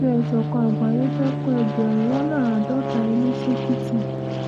àjọ ìṣọ̀kan àgbáyé fẹ́ẹ́ kó ẹgbẹ̀rún lọ́nà àádọ́ta ilé sèkìtì